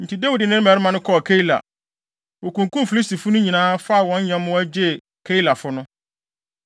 Enti Dawid ne ne mmarima kɔɔ Keila. Wokunkum Filistifo no nyinaa, faa wɔn nyɛmmoa, gyee Keilafo no.